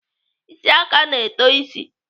Isi aka na-eto isi.